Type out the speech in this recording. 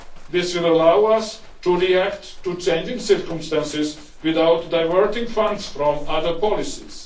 funds. This will allow us to react to changing circumstances without diverting funds from other policies.